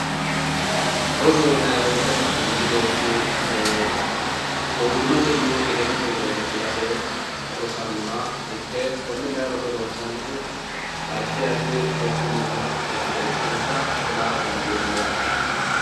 rosoho yinanni wote manchi beetti gowwimmatenni egennote widira hige fulate rosannoha ikke konne kayi roso ronsannihu addi addi rosu minnna e'ne ikkinota kula dandiinanni yaate.